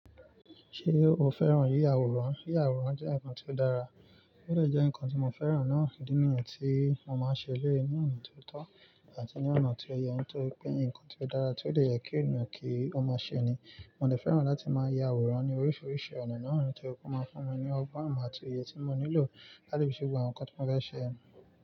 Ṣé o fẹ́ràn yíya àwòrán? Yíya àwòrán jẹ́ nǹkan tí ó dára, ó dẹ jẹ́ nǹkan tí mo fẹ́ràn náà. Ídi niyen tí mo máa ń ṣe eleyii ní ọ̀nà tó tọ́ àti ní ọ̀nà tó yẹ, nítorí pé nǹkan tí ó dára, tí ó dè yẹ kí ẹniyan kí ó máa ṣe ni. Mo dè fẹ́ràn láti máa ya àwòrán ní oríṣiríṣi ọ̀nà náà, nítorí pe ó máa ń fún mi ní ọgbọ́n, imọ ati oye tí mo nílò láti fi ṣe gbogbo àwọn nǹkan tí mo fẹ́ ṣe yen.